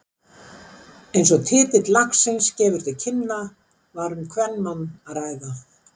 Eins og titill lagsins gefur til kynna var um kvenmann að ræða.